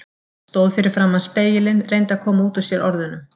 Stóð fyrir framan spegilinn, reyndi að koma út úr sér orðunum